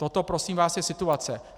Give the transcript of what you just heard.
Toto prosím vás je situace.